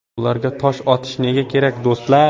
Ularga tosh otish nega kerak, do‘stlar?